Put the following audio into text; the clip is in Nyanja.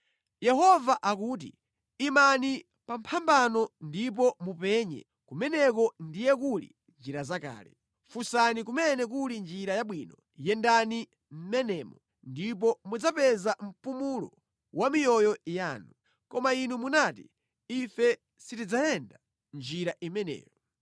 Yehova akuti, “Imani pa mphambano ndipo mupenye; kumeneko ndiye kuli njira zakale, funsani kumene kuli njira yabwino. Yendani mʼmenemo, ndipo mudzapeza mpumulo wa miyoyo yanu. Koma inu munati, ‘Ife sitidzayenda njira imeneyo.’